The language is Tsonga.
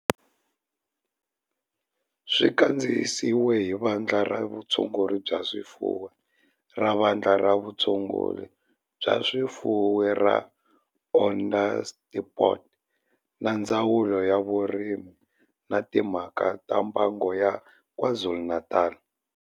Xi kandziyisiwe hi Vandla ra Vutshunguri bya swifuwo ra Vandla ra Vutshunguri bya swifuwo ra Onderstepoort na Ndzawulo ya Vurimi na Timhaka ta Mbango ya KwaZulu-Natal